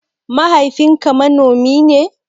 Mahaifin ka manomi ne?